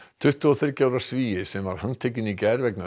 tuttugu og þriggja ára Svíi sem var handtekinn í gær vegna